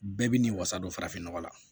Bɛɛ bi ni wasa don farafin nɔgɔ la